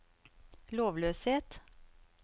lovløshet